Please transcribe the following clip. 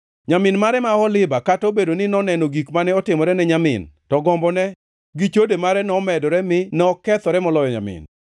“Nyamin mare ma Oholiba kata obedo ni noneno gik mane otimore ni nyamin, to gombone gi chode mare nomedore mi nokethore moloyo nyamin.